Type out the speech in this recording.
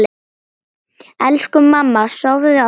Elsku mamma, sofðu, ástin mín.